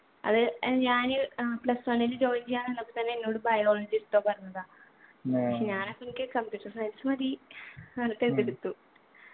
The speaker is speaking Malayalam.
അത് ഏർ ഞാന് ഏർ plus one ല് join ചെയ്യാൻ നിന്നപ്പോ തന്നെ എന്നോട് biology എടുത്തോ പറഞ്ഞതാ പക്ഷെ ഞാൻ എനിക്ക് computer science മതി ന്ന് പറഞ്ഞിട്ട് അതെടുത്തു